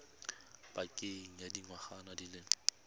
pakeng ya dingwaga di le